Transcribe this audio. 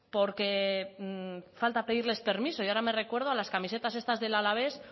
porque falta pedirles permiso y ahora me recuerdo a las camisetas estas del alavés